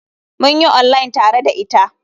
Mun yi online tare da ita.